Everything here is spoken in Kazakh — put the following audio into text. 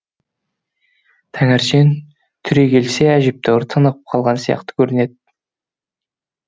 таңертең түрекелсе әжептәуір тынығып қалған сияқты көрінеді